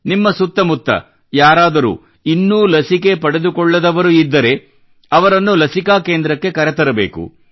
ನಿಮ್ಮ ಸುತ್ತ ಮುತ್ತ ಯಾರಾದರೂ ಇನ್ನೂ ಲಸಿಕೆ ಪಡೆದುಕೊಳ್ಳದವರು ಇದ್ದರೆ ಅವರನ್ನು ಲಸಿಕಾ ಕೇಂದ್ರಕ್ಕೆ ಕರೆತರಬೇಕು